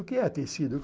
O que é tecido?